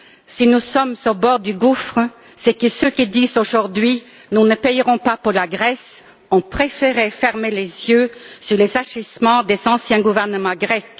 Si nous sommes au bord du gouffre, c'est que ceux qui disent aujourd'hui qu'ils ne paieront pas pour la Grèce ont préféré fermer les yeux sur les agissements des anciens gouvernements grecs.